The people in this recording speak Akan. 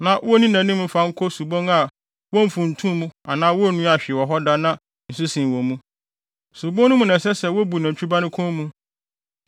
na wonni nʼanim mfa no nkɔ subon a womfuntumii anaa wonnuaa hwee wɔ hɔ da na nsu sen wɔ mu. Subon no mu na ɛsɛ sɛ wobu nantwi ba no kɔn mu.